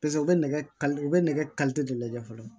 Paseke u bɛ nɛgɛ u bɛ nɛgɛ de lajɛ fɔlɔ